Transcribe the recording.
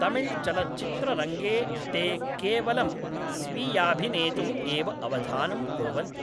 तमिळ्चलच्चित्ररङ्गे ते केवलं स्वीयाभिनेतुः एव अवधानं कुर्वन्ति।